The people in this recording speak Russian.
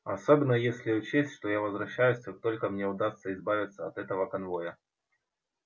особенно если учесть что я возвращаюсь как только мне удастся избавиться от этого конвоя